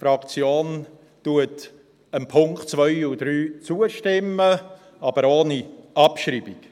Die Fraktion stimmt den Punkten 2 und 3 zu, aber ohne Abschreibung.